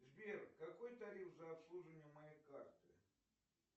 сбер какой тариф за обслуживание моей карты